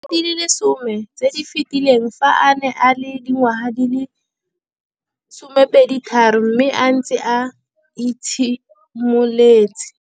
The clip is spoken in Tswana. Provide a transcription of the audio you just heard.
Dingwaga di le 10 tse di fetileng, fa a ne a le dingwaga di le 23 mme a setse a itshimoletse.